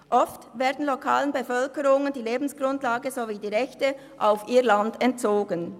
Oft werden lokalen Bevölkerungen die Lebensgrundlage sowie die Rechte auf ihr Land entzogen.